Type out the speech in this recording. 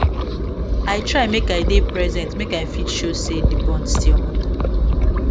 i try make i dey present make i fit show say the bond still matter